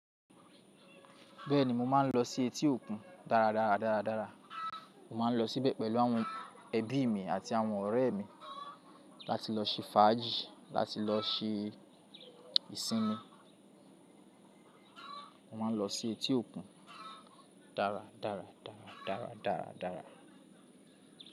Bẹ́ẹ̀ni, mo máa ń lọ sí etí òkun dára dára dára dára. Mo máa ń lọ síbẹ̀ pẹ̀lú àwọn ẹbí mi àti àwọn ọ̀rẹ́ mi láti lọ ṣe fàájì, láti lọ ṣe ìsinmi. Mo máa ń lọ sí etí òkun dára dára dára dára dára dára.